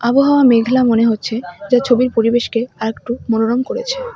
আবহাওয়া মেঘলা মনে হচ্ছে যা ছবির পরিবেশকে আরেকটু মনোরম করেছে।